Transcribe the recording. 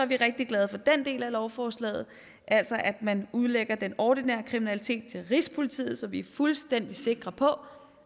vi rigtig glade for den del af lovforslaget altså at man udlægger den ordinære kriminalitet til rigspolitiet så vi er fuldstændig sikre på